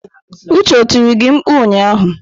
Uche ọ tiri gị mkpụ ụnyahụ?